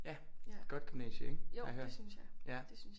Ja godt gymnasie ikke har jeg hørt